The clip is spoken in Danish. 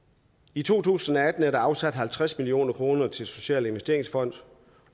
i to tusind og atten er der afsat halvtreds million kroner til en social investeringsfond